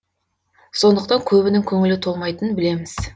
сондықтан көбінің көңілі толмайтынын білеміз